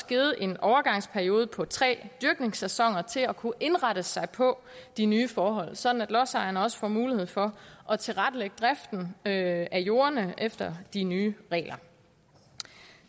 givet en overgangsperiode på tre dyrkningssæsoner til at kunne indrette sig på de nye forhold sådan at lodsejerne også får mulighed for at tilrettelægge driften af jordene efter de nye regler